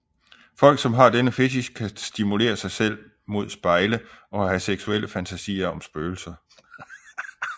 Folk som har denne fetich kan stimulere sig selv mod spejle og have seksuelle fantasier om spøgelser